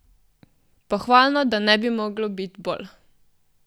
Pohvalno, da ne bi moglo biti bolj!